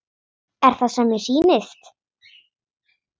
Er það sem mér sýnist?